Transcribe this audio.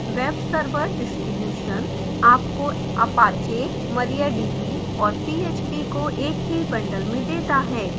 web server distributions आपको apache mariadb और php को एक ही bundled में देता है